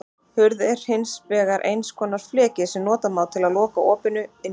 Hurð er hins vegar einhvers konar fleki sem nota má til að loka opinu, innganginum.